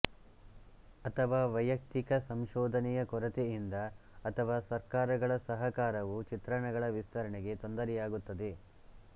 ಅಥವಾ ವೈಯುಕ್ತಿಕ ಸಂಶೋಧನೆಯ ಕೊರತೆಯಿಂದ ಅಥವಾ ಸರ್ಕಾರಗಳ ಸಹಕಾರವು ಚಿತ್ರಣಗಳ ವಿಸ್ತರಣೆಗೆ ತೊಂದರೆಯಾಗುತ್ತದೆ